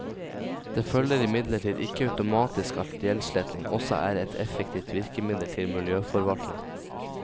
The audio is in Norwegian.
Det følger imidlertid ikke automatisk at gjeldssletting også er et effektivt virkemiddel til miljøforvaltning.